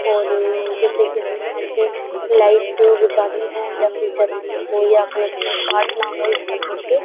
और जैसे कि हमें यहाँ से लाइट बुझानी हो या फिर जलानी हो या कनेक्शन काटना हो इस तरह से।